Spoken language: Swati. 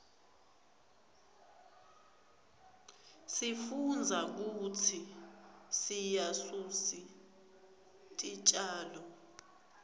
sifundza kutsi siryasusi titjalo